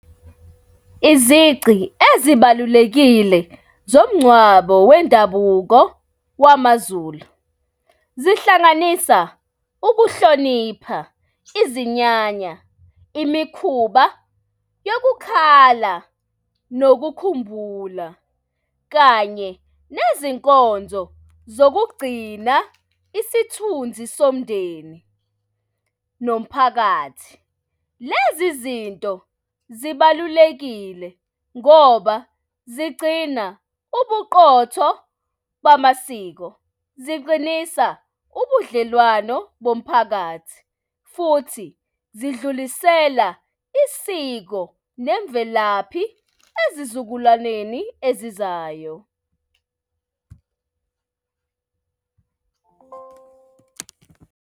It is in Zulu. Izici ezibalulekile zomngcwabo wendabuko wamaZulu, zihlanganisa ukuhlonipha, izinyanya, imikhuba yokukhala nokukhumbula, kanye nezinkonzo zokugcina isithunzi somndeni nomphakathi. Lezi zinto zibalulekile ngoba zigcina ubuqotho bamasiko ziqinisa ubudlelwano bomphakathi futhi zidlulisela isiko nemvelaphi ezizukulwaneni ezizayo.